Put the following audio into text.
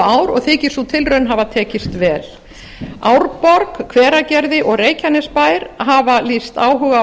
ár og þykist sú tilraun hafa tekist vel árborg hveragerði og reykjanesbær hafa lýst áhuga á